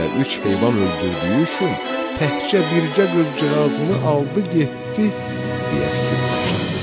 Elə üç heyvan öldürdüyü üçün təkcə bircə qızcığazımı aldı getdi, deyə fikirləşdi.